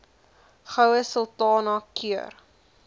goue sultana keur